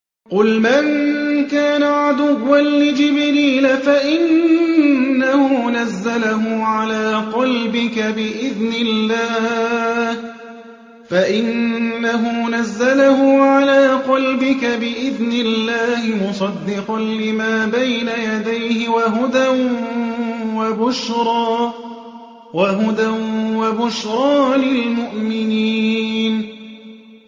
قُلْ مَن كَانَ عَدُوًّا لِّجِبْرِيلَ فَإِنَّهُ نَزَّلَهُ عَلَىٰ قَلْبِكَ بِإِذْنِ اللَّهِ مُصَدِّقًا لِّمَا بَيْنَ يَدَيْهِ وَهُدًى وَبُشْرَىٰ لِلْمُؤْمِنِينَ